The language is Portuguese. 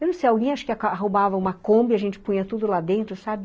Eu não sei, alguém acho que roubava uma Kombi, a gente punha tudo lá dentro, sabe?